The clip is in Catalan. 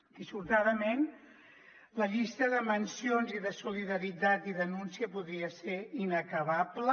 dissortadament la llista de mencions i de solidaritat i denúncia podria ser inacabable